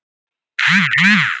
Námsmenn erlendis séu uggandi.